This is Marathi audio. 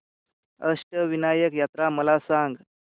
अष्टविनायक यात्रा मला सांग